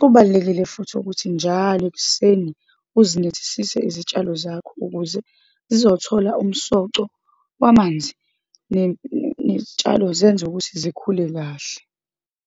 Kubalulekile futhi ukuthi njalo ekuseni uzinethisise izitshalo zakho, ukuze zizothola umsoco wamanzi, iy'tshalo zenza ukuthi zikhule kahle.